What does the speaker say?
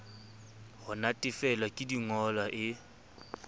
ho natefelwa ke dingolwa e